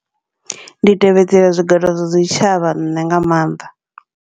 Ndi tevhedzela zwiḓolo zwa zwi tshavha nṋe nga maanḓa.